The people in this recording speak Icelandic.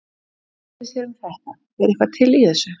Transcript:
Hvað finnst þér um þetta er eitthvað til í þessu?